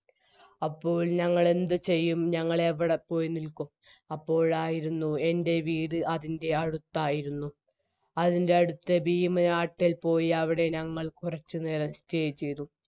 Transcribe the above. അപ്പോൾ ഞങ്ങളെന്തു ചെയ്യും ഞങ്ങളെവിടെപ്പോയിനിൽക്കും അപ്പോളായിരുന്നു എൻറെ വീട് അതിൻറെ അടുത്തായിരുന്നു അതിൻറെ അടുത്ത് ഇൽ പോയി അവിടെ ഞങ്ങൾ കുറച്ചുനേരം stay ചെയ്തു